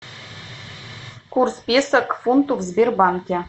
курс песо к фунту в сбербанке